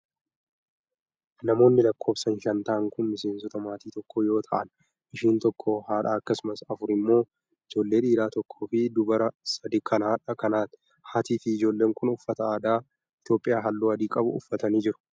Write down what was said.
Namoonni lakkoofsan shan ta'an kun miseensota maatii tokko yoo ta'an, isheen tokko haadha akkasumas afur immoo ijoollee dhiiraa tokkoo fi dubaraa sadi kan haadha kanaati. Haatii fi ijoolleen kun uffata aadaa Itoophiyaa haalluu adii qabu uffatanii jiru.